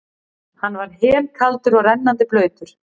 Hann var helkaldur og rennandi blautur.